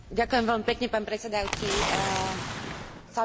Chcela by som pozdraviť maďarskú delegáciu na čele s jej premiérom.